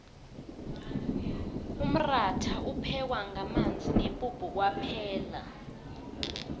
umratha uphekwa ngamanzi nepuphu kwaphela